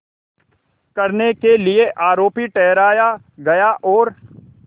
करने के लिए आरोपी ठहराया गया और